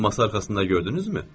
Masa arxasında gördünüzmü?